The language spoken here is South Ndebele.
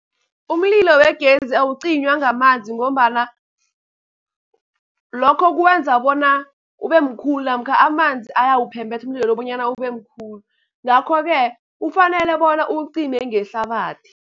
Umlilo wegezi awucinywa ngamanzi, ngombana lokho kwenza bona ube mkhulu namkha amanzi ayawuphembetha umlilo bonyana ube mkhulu. Ngakho-ke kufanele bona uwucime ngehlabathi.